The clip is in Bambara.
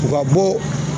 U ka bɔ